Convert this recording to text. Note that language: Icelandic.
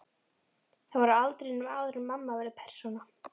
Þær voru á aldrinum áður en mamma verður persóna.